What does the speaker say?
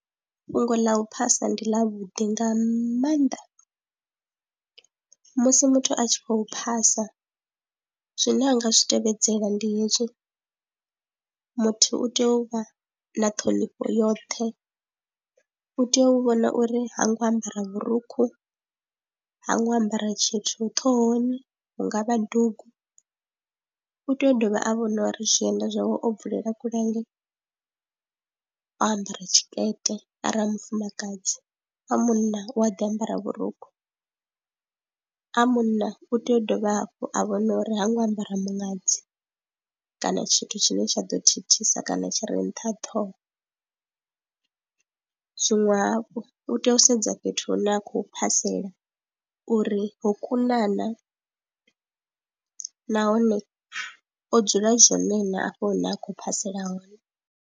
Fhungo ḽa u phasa ndi ḽavhuḓi nga maanḓa musi muthu a tshi khou phasa zwine a nga zwi tevhedzela ndi hezwi, muthu u tea u vha na ṱhonifho yoṱhe, u tea u vhona uri ha ngo ambara vhurukhu, ha ngo ambara tshithu ṱhohoni hu nga vha dugu. U tea u dovha a vhona uri zwienda zwawe o bvulela kule hangei, o ambara tshikete arali mufumakadzi, a munna u a ḓi ambara vhurukhu, a munna u tea u dovha hafhu a vhona uri ha ngo ambara muṅadzi kana tshithu tshine tsha ḓo thithisa kana tshi ri nṱha ṱhoho. Zwiṅwe hafhu u tea u sedza fhethu hune a khou phasela uri ho kuna na nahone o dzula zwone na afho hune a khou phasela hone.